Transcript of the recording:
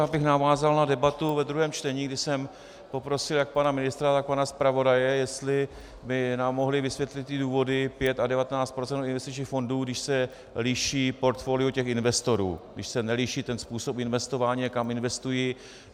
Já bych navázal na debatu ve druhém čtení, kdy jsem poprosil jak pana ministra, tak pana zpravodaje, jestli by nám mohli vysvětlit ty důvody pět a 19 % investičních fondů, když se liší portfolio těch investorů, když se neliší ten způsob investování a kam investují.